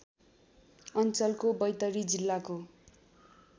अञ्चलको बैतडी जिल्लाको